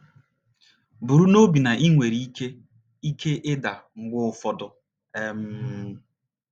Buru n’obi na i nwere ike ike ịda mgbe ụfọdụ. um